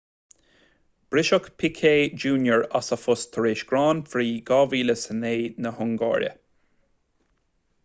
briseadh piquet jr as a phost tar éis grand prix 2009 na hungáire